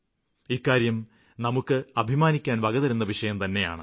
ഇക്കാര്യം നമുക്ക് അഭിമാനിക്കാന് വകതരുന്ന വിഷയംതന്നെയാണ്